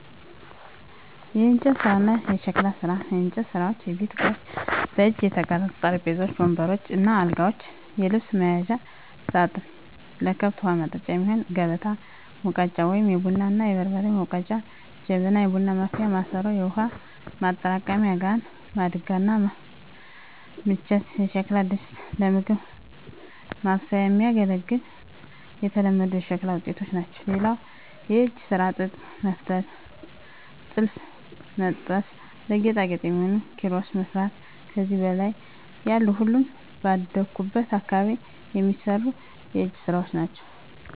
**የእንጨት ስራ እና የሸክላ ስራ፦ *የእንጨት ስራዎች * የቤት እቃዎች: በእጅ የተቀረጹ ጠረጴዛዎች፣ ወንበሮች እና አልጋዎች፣ የልብስ መያዣ ሳጥን፣ ለከብት ውሀ ማጠጫ የሚሆን ከበታ፣ ሙገጫ(የቡና እና የበርበሬ መውገጫ) ጀበና (የቡና ማፍያ ማሰሮ)፣ የውሃ ማጠራቀሚያ ጋን፣ ማድጋ እና ምንቸት የሸክላ ድስቶች ለምግብ ማብሰያ የሚያገለግሉ የተለመዱ የሸክላ ውጤቶች ናቸው። *ሌላው የእጅ ስራ ጥጥ መፍተል *ጥልፍ መጥለፍ *ለጌጣጌጥ የሚሆኑ ኪሮስ መስራት ከዚህ በላይ ያሉ ሁሉም ባደኩበት አካባቢ የሚሰሩ የእጅ ስራወች ናቸው።